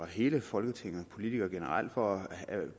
hele folketinget og politikere generelt for at